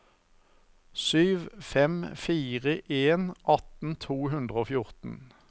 sju fem fire en atten to hundre og fjorten